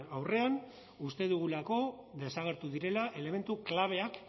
aurrean uste dugulako desagertu direla elementu klabeak